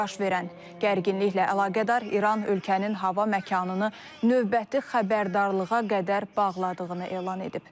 Baş verən gərginliklə əlaqədar İran ölkənin hava məkanını növbəti xəbərdarlığa qədər bağladığını elan edib.